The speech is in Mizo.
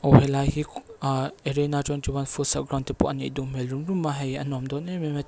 aw helai hi a arena twenty one footsal ground te pawh a nih duh hmel rum rum a hei a nawm dawn em em a.